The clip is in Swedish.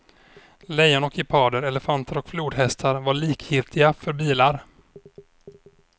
Lejon och geparder, elefanter och flodhästar var likgiltiga för bilar.